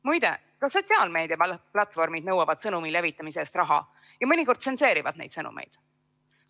Muide, ka sotsiaalmeedia platvormid nõuavad sõnumi levitamise eest raha ja mõnikord tsenseerivad neid sõnumeid.